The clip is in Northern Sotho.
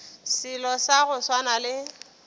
selo sa go swana le